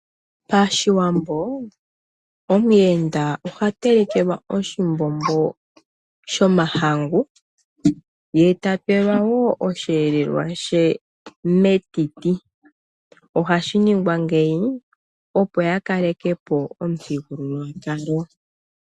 Pashiwambo omuyenda oha telekelwa oshimbombo shomahangu, ye ta pelwa wo osheelelwa she metiti. Ohashi ningwa ngeyi, opo ya kaleke po omuthigululwakalo.